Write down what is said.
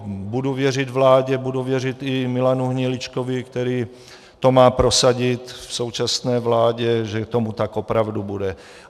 Budu věřit vládě, budu věřit i Milanu Hniličkovi, který to má prosadit v současné vládě, že tomu tak opravdu bude.